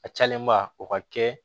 A calenba o ka kɛ